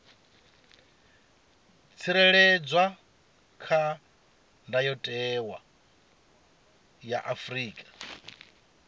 tsireledzwa kha ndayotewa ya afrika